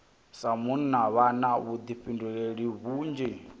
sa munna vha na vhuḓifhinduleli vhunzhi